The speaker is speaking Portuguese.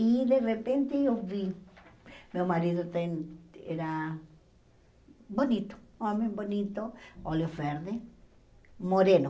E de repente eu vi, meu marido tem era bonito, homem bonito, olho verde, moreno.